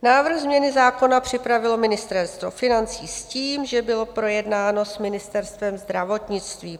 Návrh změny zákona připravilo Ministerstvo financí s tím, že bylo projednáno s Ministerstvem zdravotnictví.